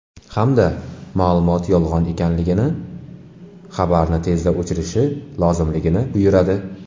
Hamda ma’lumot yolg‘on ekanligini, xabarni tezda o‘chirishi lozimligini buyuradi.